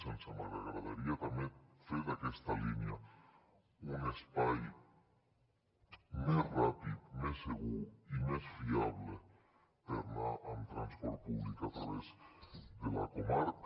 ens agradaria també fer d’aquesta línia un espai més ràpid més segur i més fiable per anar amb transport públic a través de la comarca